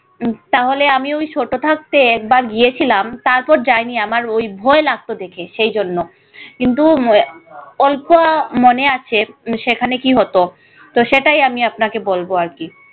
উম তাহলে আমি ঐ ছোট থাকতে একবার গিয়েছিলাম তারপর যাইনি আমার ওই ভয় লাগতো দেখে সেইজন্য। কিন্তু অল্প মনে আছে সেখানে কি হতো তো সেটাই আমি আপনাকে বলব আর কি